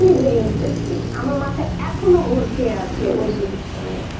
its really very interesting আমার মাথা এখনো ঘুর খেইয়া আছে ওই জিনিসটা নিয়ে,